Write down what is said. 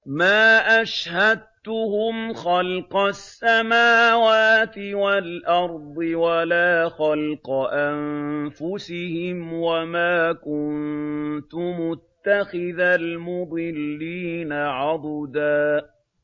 ۞ مَّا أَشْهَدتُّهُمْ خَلْقَ السَّمَاوَاتِ وَالْأَرْضِ وَلَا خَلْقَ أَنفُسِهِمْ وَمَا كُنتُ مُتَّخِذَ الْمُضِلِّينَ عَضُدًا